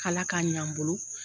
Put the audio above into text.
K'Ala k'a ɲ'an bolo.